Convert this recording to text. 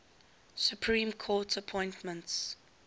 supreme court appointments